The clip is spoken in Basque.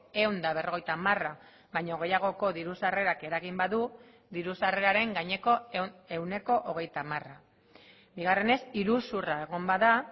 ehun eta berrogeita hamara baino gehiagoko diru sarrerak eragin badu diru sarreraren gaineko ehuneko hogeita hamara bigarrenez iruzurra egon bada